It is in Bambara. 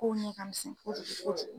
Kow ɲɛ ka misɛn ko juku ko juku.